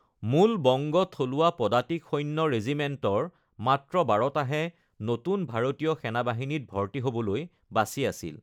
মূল বংগ থলুৱা পদাতিক সৈন্য ৰেজিমেণ্টৰ মাত্ৰ বাৰটাহে নতুন ভাৰতীয় সেনাবাহিনীত ভৰ্তি হ'বলৈ বাচি আছিল।